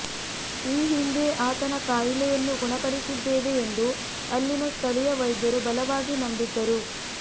ಈ ಹಿಂದೆ ಆತನ ಕಾಯಿಲೆಯನ್ನು ಗುಣಪಡಿಸಿದ್ದೇವೆ ಎಂದು ಅಲ್ಲಿನ ಸ್ಥಳೀಯ ವೈದ್ಯರು ಬಲವಾಗಿ ನಂಬಿದ್ದರು